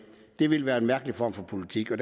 det ville være en mærkelig form for politik og